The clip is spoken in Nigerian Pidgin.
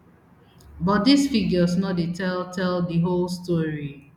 but dis figures no dey tell tell di whole story